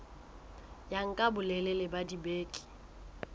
ya nka bolelele ba dibeke